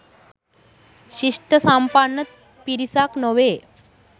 ශිෂ්ඨසම්පන්න පිරිසක් නොවේ